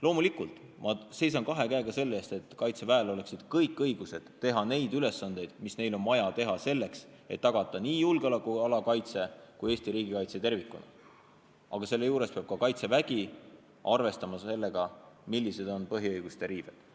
Loomulikult seisan ma kahe käega selle eest, et Kaitseväel oleksid kõik õigused, et nad saaksid täita neid ülesandeid, mida neil on vaja täita, selleks et tagada nii julgeolekuala kaitse kui ka Eesti riigikaitse tervikuna, aga selle juures peab Kaitsevägi arvestama sellega, millised on põhiõiguste riived.